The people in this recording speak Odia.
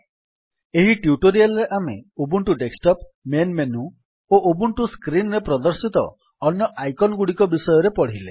ଏହି ଟ୍ୟୁଟୋରିଆଲ୍ ରେ ଆମେ ଉବୁଣ୍ଟୁ ଡେସ୍କଟପ୍ ମେନ୍ ମେନୁ ଓ ଉବୁଣ୍ଟୁ ସ୍କ୍ରୀନ୍ ରେ ପ୍ରଦର୍ଶିତ ଅନ୍ୟ ଆଇକନ୍ ଗୁଡିକ ବିଷୟରେ ପଢିଲେ